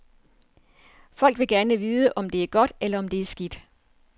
Folk vil gerne vide om det godt, eller om er det skidt.